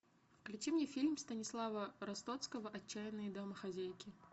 включи мне фильм станислава ростоцкого отчаянные домохозяйки